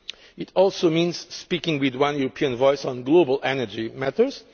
It also means speaking with one European voice on global energy matters.